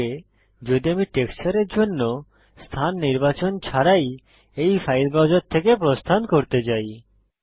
কি হবে যদি আমি টেক্সচার্স এর জন্য স্থান নির্বাচন ছাড়াই এই ফাইল ব্রাউজার থেকে প্রস্থান করতে চাই